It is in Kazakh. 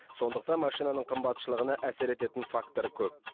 сондықтан машинаның қымбатшылығына әсер ететін фактор көп